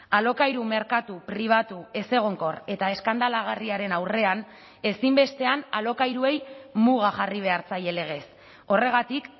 alokairu merkatu pribatu ezegonkor eta eskandalagarriaren aurrean ezinbestean alokairuei muga jarri behar zaie legez horregatik